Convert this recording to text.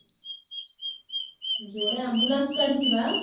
ଯୋଡେ ambulance କାଢିଛି ବା